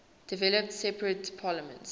developed separate parliaments